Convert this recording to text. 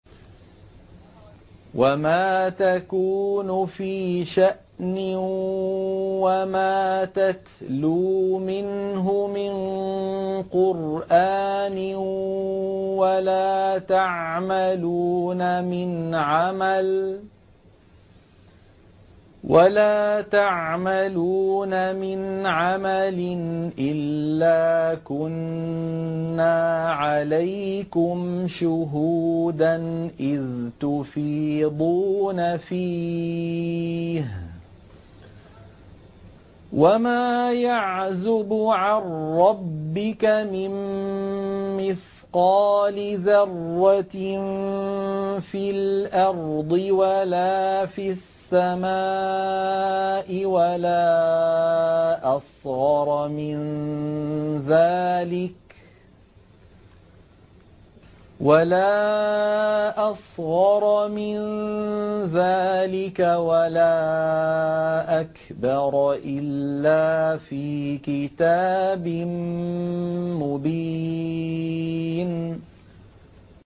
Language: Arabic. وَمَا تَكُونُ فِي شَأْنٍ وَمَا تَتْلُو مِنْهُ مِن قُرْآنٍ وَلَا تَعْمَلُونَ مِنْ عَمَلٍ إِلَّا كُنَّا عَلَيْكُمْ شُهُودًا إِذْ تُفِيضُونَ فِيهِ ۚ وَمَا يَعْزُبُ عَن رَّبِّكَ مِن مِّثْقَالِ ذَرَّةٍ فِي الْأَرْضِ وَلَا فِي السَّمَاءِ وَلَا أَصْغَرَ مِن ذَٰلِكَ وَلَا أَكْبَرَ إِلَّا فِي كِتَابٍ مُّبِينٍ